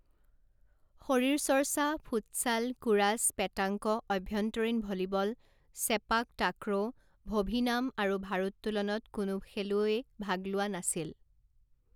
শৰীৰচৰ্চা, futsal, kurash, petanque, অভ্যন্তৰীণ volleyball, sepak takraw, vovinam আৰু ভাৰোত্তোলনত কোনো খেলুৱৈয়ে ভাগ লোৱা নাছিল।